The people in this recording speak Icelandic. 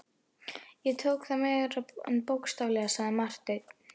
Ég tók það meira en bókstaflega, sagði Marteinn.